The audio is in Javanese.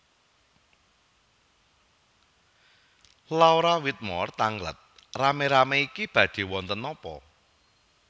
Laura Whitmore tangglet rame rame niki badhe wonten napa